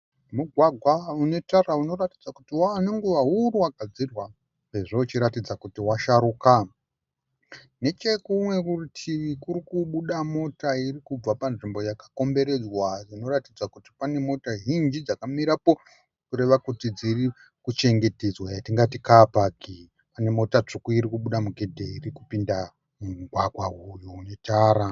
Mugwagwa une tara unoratidza kuti wava nenguva huru wagadzirwa sezvo uchiratidza kuti washaruka. Nechekumwe kurutivi kuri kubuda mota iri kubva panzvimbo yakakomberedzwa inoratidza kuti pane mota zhinji dzakamirapo kureva kuti dziri kuchengetedzwa yatingati kaapaki. Kune mota tsvuku iri kubuda mugedhe iri kupinda mumugwagwa uyu une tara.